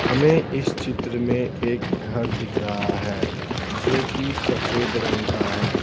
हमें इस चित्र में एक घर दिख रहा है जो कि सफेद रंग का है।